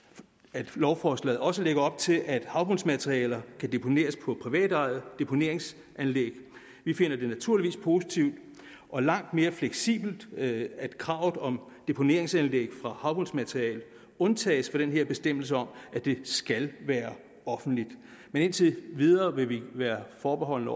at lovforslaget også lægger op til at havbundsmaterialer kan deponeres på privatejede deponeringsanlæg vi finder det naturligvis positivt og langt mere fleksibelt at kravet om deponeringsanlæg for havbundsmaterialer undtages fra den her bestemmelse om at det skal være offentligt men indtil videre vil vi være forbeholdne